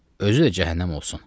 Özü də cəhənnəm olsun.